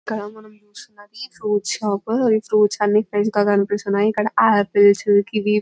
ఇక్కడ మనం చూస్తూ ఉన్నది ఫ్రూట్స్ షాప్ ఫ్రూట్స్ అన్ని ఫ్రెష్ గా కనిపిస్తూ ఉన్నాయి ఇక్కడ ఆపిల్స్ కివి --